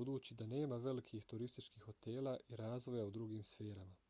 budući da nema velikih turističkih hotela i razvoja u drugim sferama